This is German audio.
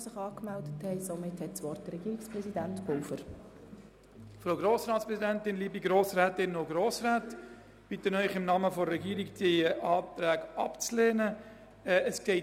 Zugegebenermassen geht es nur um einen kleinen Betrag, aber das AK ist ein kleines Amt, und es spart insgesamt 5 Prozent seines Budgets ein.